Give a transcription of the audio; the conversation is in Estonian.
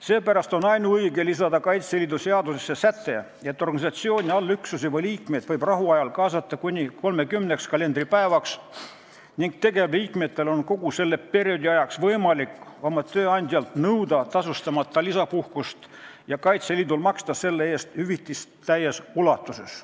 Seepärast on ainuõige lisada Kaitseliidu seadusesse säte, et organisatsiooni allüksusi või liikmeid võib rahuajal kaasata kuni 30 kalendripäevaks ning tegevliikmetel on kogu selleks ajaks võimalik oma tööandjalt nõuda tasustamata lisapuhkust ja Kaitseliit võib maksta selle eest hüvitist täies ulatuses.